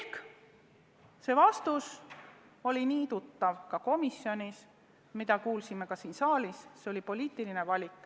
Kõlanud vastus oli nii tuttav juba komisjonist ja me kuulsime seda ka siin saalis: selline oli poliitiline valik.